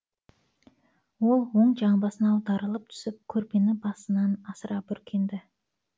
ол оң жамбасына аударылып түсіп көрпені басынан асыра бүркенді